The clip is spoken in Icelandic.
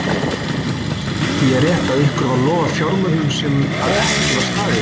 Ingimar: Skyldi ég rétt að ykkur var lofað fjármögnun sem að ekki var staðið við?